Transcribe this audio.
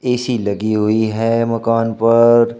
AC लगी हुई है मकान पर।